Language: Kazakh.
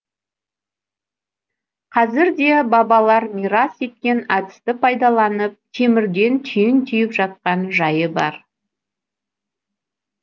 қазір де бабалар мирас еткен әдісті пайдаланып темірден түйін түйіп жатқан жайы бар